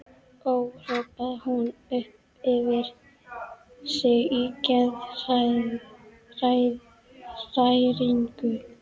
Ó, hrópaði hún upp yfir sig í geðshræringu.